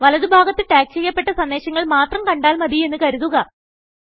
വലതു ഭാഗത്ത് ടാഗ് ചെയ്യപ്പെട്ട സന്ദേശങ്ങൾ മാത്രം കണ്ടാൽ മതിയെന്ന് കരുതുക